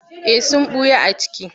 Eh sun ɓuya a ciki.